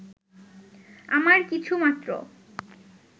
আমার কিছুমাত্র